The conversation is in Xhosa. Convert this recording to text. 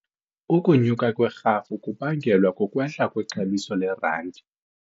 Ukunyuka kwerhafu kubangelwa kukwehla kwexabiso lerandi.